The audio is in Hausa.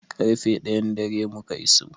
Ƙarfe ɗayan dare muka iso.